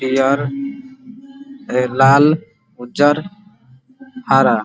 पियर लाल उज्जर हरा --